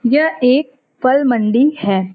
यह एक फल मंडी है।